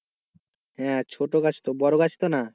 হ্যাঁ ছোটো গাছ তো বড়ো গাছ তো না,